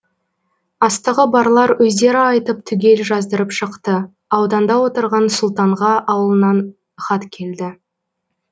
астығы барлар өздері айтып түгел жаздырып шықты ауданда отырған сұлтанға ауылынан хат келді